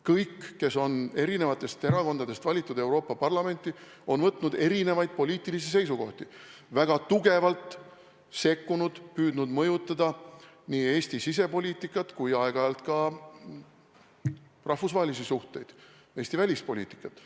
Kõik, kes on eri erakondadest valitud Euroopa Parlamenti, on avaldanud erinevaid poliitilisi seisukohti, on väga tugevalt sekkunud, püüdnud mõjutada nii Eesti sisepoliitikat kui aeg-ajalt ka rahvusvahelisi suhteid, Eesti välispoliitikat.